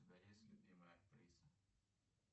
у тебя есть любимая актриса